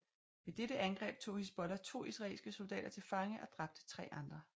Ved dette angreb tog Hizbollah to israelske soldater til fange og dræbte tre andre